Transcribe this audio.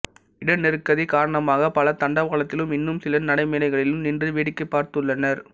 இட நெருக்கடி காரணமாக பலர் தண்டவாளத்திலும் இன்னும் சிலர் நடைமேடைகளிலும் நின்று வேடிக்கை பார்த்துள்ளனர்